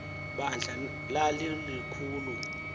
bandla lali likhulu